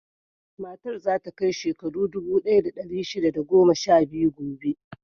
Matar za ta kai shekaru dubu ɗaya da ɗari shida da goma sha biyu gobe.